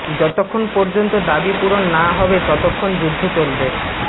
যতক্ষণ পর্যন্ত দাবি পূরণ না হবে ততক্ষণ যুদ্ধ চলবে